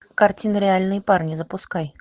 картина реальные парни запускай